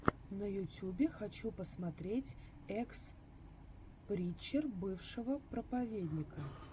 на ютюбе хочу посмотреть экс причер бывшего проповедника